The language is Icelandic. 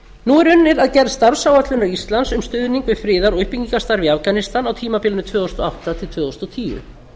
að gerð starfsáætlunar íslands um stuðning við friðar og uppbyggingarstarf í afganistan á tímabilinu tvö þúsund og átta til tvö þúsund og tíu